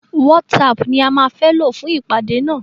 WhatsApp ni a má fẹ́ lò fún ìpàdé nà.